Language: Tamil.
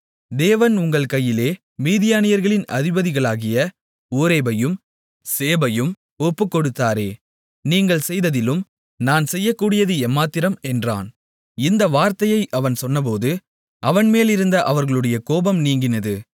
தேவன் உங்கள் கையிலே மீதியானியர்களின் அதிபதிகளாகிய ஓரேபையும் சேபையும் ஒப்புக்கொடுத்தாரே நீங்கள் செய்ததிலும் நான் செய்யக்கூடியது எம்மாத்திரம் என்றான் இந்த வார்த்தையை அவன் சொன்னபோது அவன் மேலிருந்த அவர்களுடைய கோபம் நீங்கினது